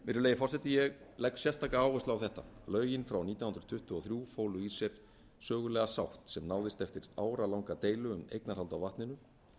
virðulegi forseti ég legg sérstaka áherslu á þetta lögin frá nítján hundruð tuttugu og þrjú fólu í sér sögulega sátt sem náðist eftir áratugalanga deilu um eignarhald á vatninu